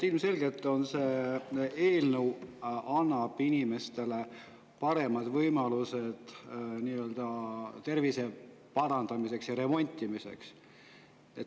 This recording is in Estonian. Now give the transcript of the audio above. Ilmselgelt see eelnõu annab inimestele paremad võimalused tervise parandamiseks ja nii-öelda remontimiseks.